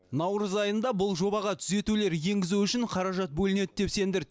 наурыз айында бұл жобаға түзетулер енгізу үшін қаражат бөлінеді деп сендірді